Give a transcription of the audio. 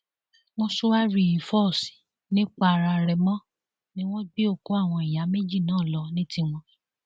mòṣùárì fos nìpararèmọ ni wọn gbé òkú àwọn ìyá méjì náà lọ ní tiwọn